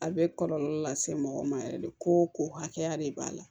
A bɛ kɔlɔlɔ lase mɔgɔ ma yɛrɛ de ko ko hakɛya de b'a la